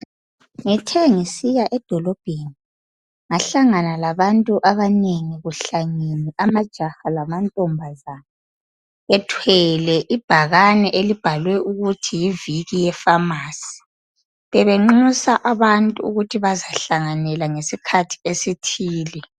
Ngithe ngisiya edolobheni ,ngahlangana labantu abanengi kuhlangene amajaha lamantombazane .Ethwele ibhakane elibhalwe ukuthi yiviki ye famasi .Bebenxusa abantu ukuthi bazahlanganela ngesikhathi esithile .